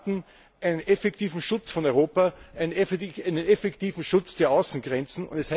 Sie erwarten einen effektiven Schutz von Europa, einen effektiven Schutz der Außengrenzen.